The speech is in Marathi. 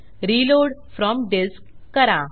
रिलोड फ्रॉम डिस्क करा